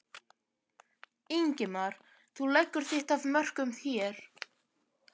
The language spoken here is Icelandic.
Ingimar: Þú leggur þitt af mörkum hér?